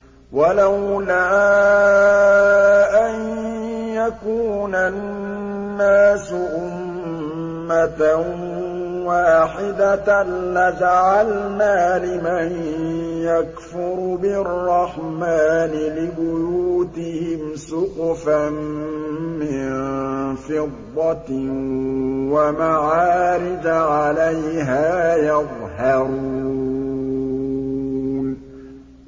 وَلَوْلَا أَن يَكُونَ النَّاسُ أُمَّةً وَاحِدَةً لَّجَعَلْنَا لِمَن يَكْفُرُ بِالرَّحْمَٰنِ لِبُيُوتِهِمْ سُقُفًا مِّن فِضَّةٍ وَمَعَارِجَ عَلَيْهَا يَظْهَرُونَ